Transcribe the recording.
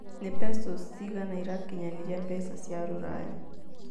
nĩ pesos cigana ĩrakinyanĩria mbeca cia rũraya